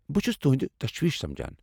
بہ چھس تہنٛد تشویٖش سمجان۔